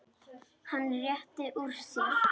Hann rétti úr sér.